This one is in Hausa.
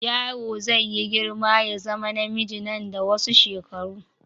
Yaro zai yi girma ya zama namiji nan da wasu shekaru.